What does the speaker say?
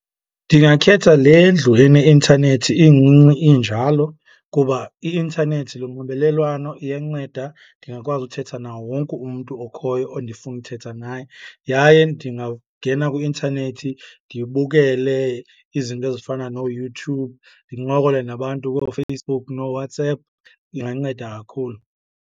Ndingakhetha le ndlu eneintanethi incinci injalo kuba i-intanethi lunxibelelwano, iyanceda. Ndingakwazi uthetha nawo wonke umntu okhoyo ondifuna uthetha naye yaye ndingangena kwi-intanethi ndibukele izinto ezifana nooYouTube, ndincokole nabantu kooFacebook nooWhatsApp. Inganceda kakhulu.